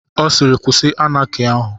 Ọ siiri kwụsị Anaki ahụ.